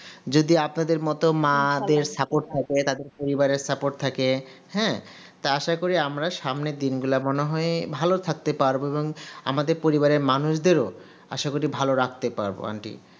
যদি আপনাদের মতো মাদের support থাকে তাদের পরিবারের support থাকে হ্যা তো আসাকরি আমরা সামনের দিনগুলো এমন হয়ে ভালো থাকতে পারবো এবং আমাদের পরিবারের মানুষদের আসা করি ভালো রাখতে পারবো aunty